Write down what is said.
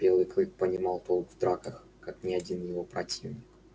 белый клык понимал толк в драках как ни один его противник